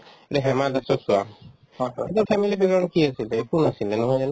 এতিয়া হিমা দাসক চোৱা সিহঁতৰ family background ত কি আছিলে একো নাছিলে নহয় জানো